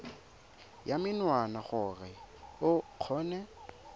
ya menwana gore o kgone